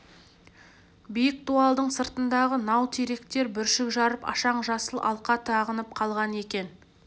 биік дуалдың сыртындағы нау теректер бүршік жарып ашаң жасыл алқа тағынып қалған екен